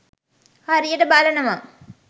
හරියට බලනවා